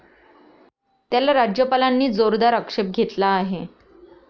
त्याला राज्यपालांनी जोरदार आक्षेप घेतला आहे.